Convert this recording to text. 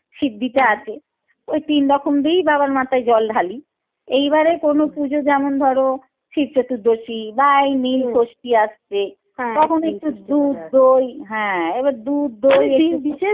সিদ্ধি টা আছে ওই তিনরকম দিয়েই বাবার মাথায় জল ঢালি এইবারে কোনো পুজো যেমন ধর শিব চতুর্দশি বা এই ষষ্ঠি আসছে তখন একটু দুধ দই হ্যাঁ এবার দুধ দই